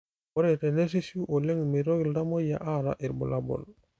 Ore tenerishu oleng meitoki iltamoyia aata irbulabol